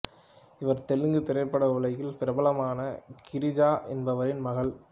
இவர் தெலுங்கு திரைப்பட உலகில் பிரபலமான கிரிஜா என்பவரின் மகள்